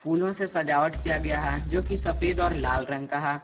फूलों से सजावट किया गया है जो कि सफेद और लाल रंग का है।